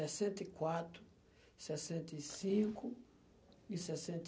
sessenta e quatro, sessenta e cinco. Em sessenta e